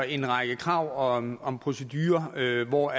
en række krav om om procedurer hvor